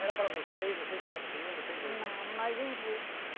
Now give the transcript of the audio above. Era para vocês, vocês consumiam, vocês vendiam? Não, nós vendia.